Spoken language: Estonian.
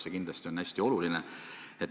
See kindlasti on hästi oluline.